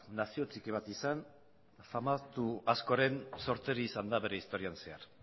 nazio txiki bat izan famatu askoren sorterri izan da bere historian zehar